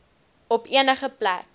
op enige plek